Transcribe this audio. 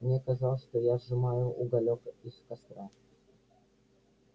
мне казалось что я сжимаю уголёк из костра